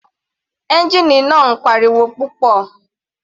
Ẹ́ngìnì náà ń pa ariwo púpọ̀.